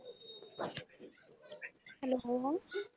Hello